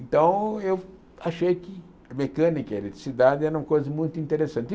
Então, eu achei que mecânica e eletricidade eram coisas muito interessantes.